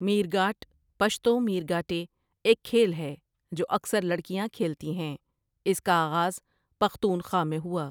میرگاٹ پشتو ميرګاټے ایک کھیل ہے جو اکثر لڑکیاں کھیلتی ہیں اس کا آغاز پختونخوا میں ہوا ۔